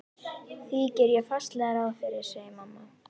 Því geri ég fastlega ráð fyrir, segir mamma.